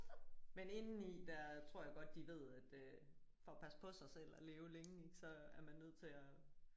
Men indeni der tror jeg godt de ved at øh for at passe på sig selv og leve længe ik så er man nødt til at